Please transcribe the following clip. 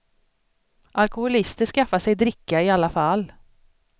Alkoholister skaffar sig dricka i alla fall.